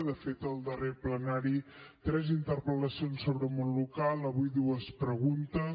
de fet al darrer plenari tres interpel·lacions sobre món local avui dues preguntes